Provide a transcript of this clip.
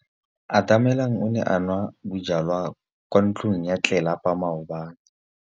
Atamelang o ne a nwa bojwala kwa ntlong ya tlelapa maobane.